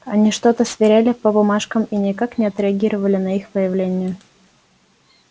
они что то сверяли по бумажкам и никак не отреагировали на их появление